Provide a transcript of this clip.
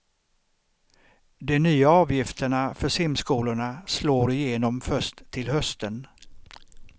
De nya avgifterna för simskolorna slår i genom först till hösten.